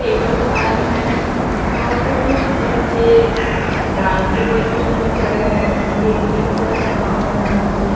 table fan है वहाँ पे कुछ बच्चे डांस के पोजीशन में खड़े हैं उनकी एक टीचर है वहाँ पर डांस पोज --